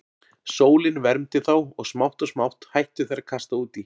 Sólin vermdi þá og smátt og smátt hættu þeir að kasta út í.